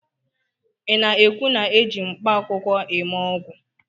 ị na-ekwu na eji mkpaakwụkwọ eme ọgwụ?